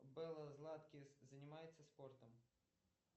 белла златкис занимается спортом